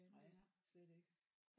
Nej slet ikke